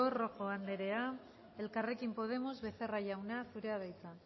rojo anderea elkarrekin podemos becerra jauna zurea da hitza